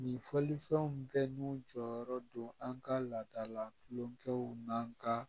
Ni fɔlifɛnw bɛɛ n'u jɔyɔrɔ don an ka laadala kulonkɛw n'an ka